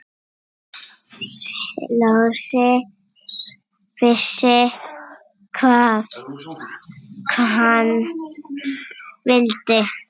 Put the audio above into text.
Lási vissi hvað hann vildi.